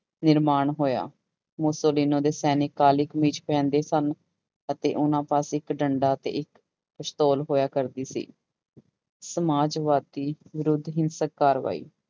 ਨਿਰਮਾਣ ਹੋਇਆ, ਮੁਸੋਲੀਨੋ ਦੇ ਸੈਨਿਕ ਕਾਲੀ ਕਮੀਜ਼ ਪਹਿਨਦੇ ਸਨ ਅਤੇ ਉਹਨਾਂ ਪਾਸ ਇੱਕ ਡੰਡਾ ਤੇ ਇੱਕ ਪਸਤੋਲ ਹੋਇਆ ਕਰਦੀ ਸੀ ਸਮਾਜਵਾਦੀ ਵਿਰੁੱਧ ਹਿੰਸਕ ਕਾਰਵਾਈ।